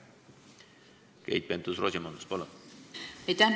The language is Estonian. Keit Pentus-Rosimannus, palun!